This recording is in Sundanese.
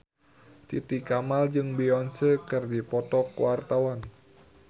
Titi Kamal jeung Beyonce keur dipoto ku wartawan